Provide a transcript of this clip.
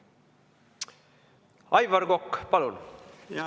Aivar Kokk, palun!